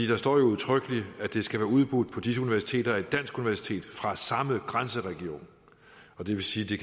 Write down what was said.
der står udtrykkeligt at det skal være udbudt på de universiteter af et dansk universitet fra samme grænseregion det vil sige